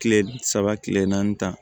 Kile saba kile naani ta